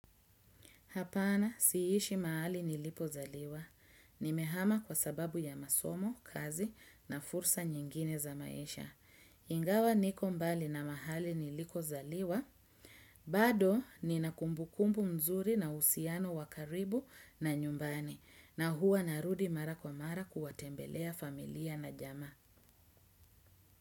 Hapana si ishi mahali nilipo zaliwa. Nimehama kwa sababu ya masomo, kazi na fursa nyingine za maisha. Ingawa niko mbali na mahali nilikozaliwa. Bado ninakumbukumbu mzuri na uhusiano wa karibu na nyumbani. Na huwa narudi mara kwa mara kuwatembelea familia na jamaa.